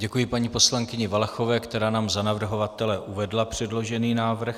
Děkuji paní poslankyni Valachové, která nám za navrhovatele uvedla předložený návrh.